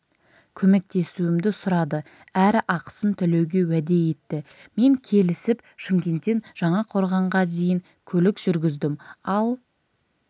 көмектесуімді сұрады әрі ақысын төлеуге уәде етті мен келісіп шымкенттен жаңақорғанға дейін көлік жүргіздім ал